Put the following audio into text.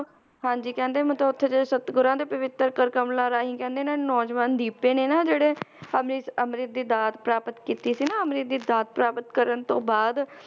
ਹਾਂਜੀ ਕਹਿੰਦੇ ਮਤਲਬ ਉੱਥੇ ਦੇ ਸਤਿਗੁਰਾਂ ਦੇ ਪਵਿੱਤਰ ਕਰ ਕਮਲਾਂ ਰਾਹੀਂ ਕਹਿੰਦੇ ਨਾ ਨੌਜਵਾਨ ਦੀਪੇ ਨੇ ਨਾ ਜਿਹੜੇ ਅੰਮ੍ਰਿਤ, ਅੰਮ੍ਰਿਤ ਦੀ ਦਾਤ ਪ੍ਰਾਪਤ ਕੀਤੀ ਸੀ ਨਾ ਅੰਮ੍ਰਿਤ ਦੀ ਦਾਤ ਪ੍ਰਾਪਤ ਕਰਨ ਤੋਂ ਬਾਅਦ